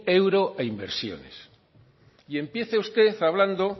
euro a inversiones y empiece usted hablando